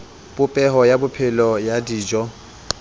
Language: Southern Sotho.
popeho ya phepelo ya dijo